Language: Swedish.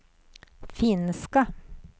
finska